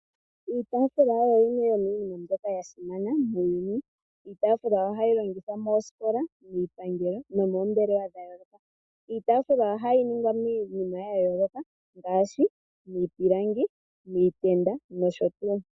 Iitaafula oyo yimwe yomiinima mbyoka ya simana muuyuni. Iitaafula ohayi longithwa moosikola, miipangelo nomoombelewa dha yooloka. Iitaafula ohayi ningwa miinima ya yooloka ngaashi miipilangi, miitenda nosho tuu.